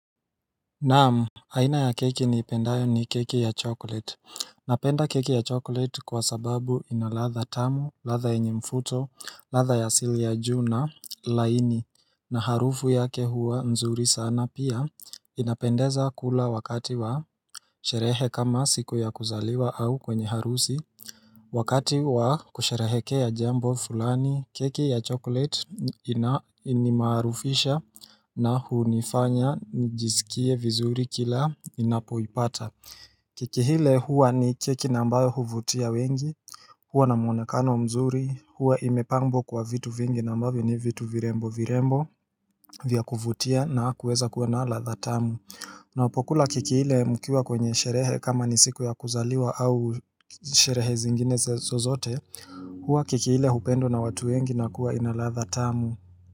Naam aina ya keki niipendayo ni keki ya chokolate Napenda keki ya chokolate kwa sababu inalatha tamu, latha enye mfuto, latha ya silia juu na laini na harufu yake huwa nzuri sana pia inapendeza kula wakati wa Sherehe kama siku ya kuzaliwa au kwenye harusi Wakati wa kusherehekea jambo fulani keki ya chokolate inimarufisha na hunifanya nijisikie vizuri kila inapoipata Keki hile huwa ni keki na ambayo huvutia wengi huwa na mwonekano mzuri huwa imepambo kwa vitu vingi nambawe ni vitu virembo virembo Vyakuvutia na kuweza kuwa na lathatamu na upokula kiki hile mukiwa kwenye sherehe kama ni siku ya kuzaliwa au sherehe zingine zozote huwa keki hile hupendo na watu wengi na kuwa inalathatamu.